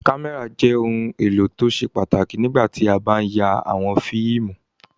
Kámẹ́rà jẹ́ ohun-èlò tó ṣe pàtàkì nígbà tí a bá ń ya àwọn fíìmù.